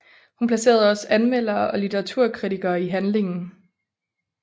Hun placerede også anmeldere og litteraturkritikere i handlingen